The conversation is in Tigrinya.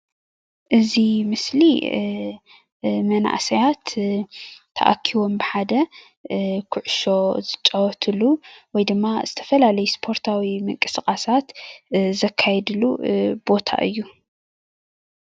እዚ ምስሊ ስፓርታዊ ምንቅስቃስ ዝካየደሉ እንትኸውን ስታድየም ድማ ይበሃል።